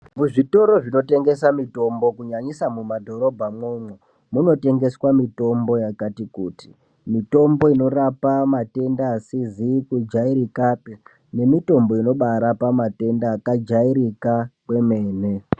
Muzvitoro zvinotengesa mitombo kunyanyisa muma dhorobha mwomwo. Munotengeswa mitombo yakati kuti mitombo inorapa matenda asizi kujairikapi nemitombo inobarapa matenda akajairika kemene.